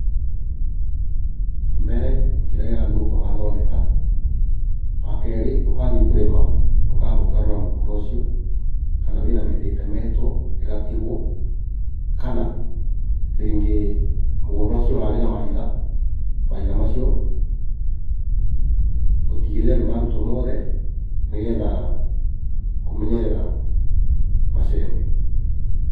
Mbere kĩrĩa gĩathũũka ũkathondeka, wakeerĩ wathiĩ kũrĩma, ũkamba ũkarora mũgũnda ũcio, kana wĩna mĩtĩ ĩtemetwo, ĩgatigwo kana rĩngĩ mũgũnda ũcio ũrarĩ na mahiga, mahiga macio ũtigĩrĩre nĩmarutwo moothe, nĩgetha kũmenyerera macembe.